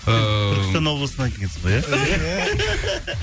ыыы түркістан облысынан келгенсің ғой иә